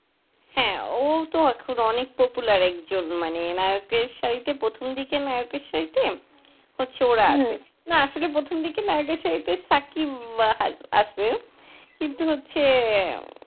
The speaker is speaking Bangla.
হ্যাঁ ও তো এখন অনেক popular একজন মানে নায়কের সারিতে প্রথম দিকের নায়কের সারিতে, হচ্ছে ওরা আছে না আসলে প্রথমদিকে নায়কের সারিতে সাকিব আছে।